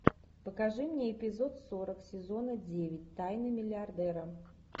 покажи мне эпизод сорок сезона девять тайны миллиардера